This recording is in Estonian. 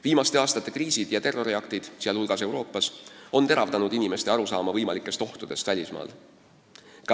Viimaste aastate kriisid ja terroriaktid, sh Euroopas, on teravdanud inimeste arusaama võimalikest ohtudest välismaal.